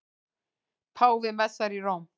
Páfi messar í Róm